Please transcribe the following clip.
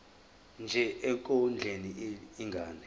nje ekondleni ingane